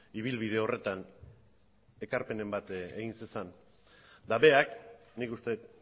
ibilbide horretan ekarpenen bat egin zezan eta berak nik uste dut